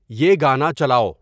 یہ گانا چلاؤ